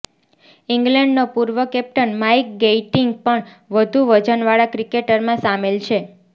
ઇંગ્લેન્ડનો પૂર્વ captain Mike Gatting પણ વધુ વજનવાળા ક્રિકેટરમા સામેલ છે